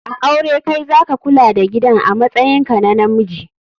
A aure Kai zaka Kula da gidan amatsayin ka na Namji